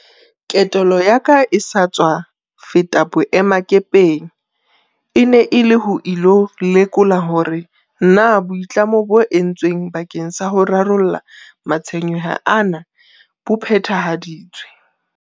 Ketelo ya ka e sa tswa feta boemakepeng e ne e le ho ilo lekola hore na boitlamo bo entsweng bakeng sa ho rarolla matshwenyeho ana bo phethahaditswe.